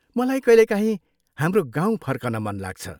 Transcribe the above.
मलाई कहिलेकाहीँ हाम्रो गाउँ फर्कन मन लाग्छ।